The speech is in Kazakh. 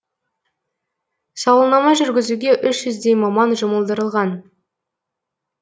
сауалнама жүргізуге үш жүздей маман жұмылдырылған